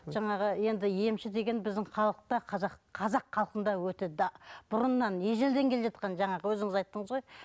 жаңағы енді емші деген біздің халықта қазақ қазақ халқында өте бұрыннан ежелден келе жатқан жаңағы өзіңіз айттыңыз ғой